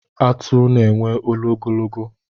Atụ na-enwe olu ogologo.